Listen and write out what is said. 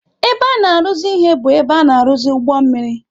Ebe a na-arụzi ihe bụ ebe a na-arụzi ụgbọ mmiri.